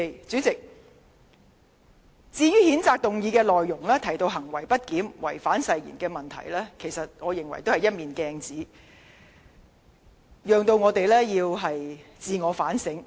主席，譴責議案提到行為不檢及違反誓言等問題，我認為是一面鏡子，讓議員自我反省。